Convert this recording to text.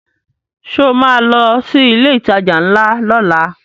Ṣo ma lọ sí ilé ìtajà ńlá lọ́la?